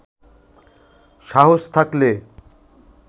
সাহস থাকলে